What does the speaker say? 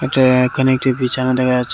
এইটা এখানে একটি বিছানা দেখা যাচ্ছে।